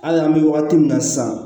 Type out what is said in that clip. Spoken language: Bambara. Hali an bɛ wagati min na sisan